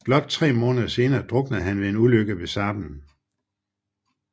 Blot tre måneder senere druknede han ved en ulykke ved Sarpen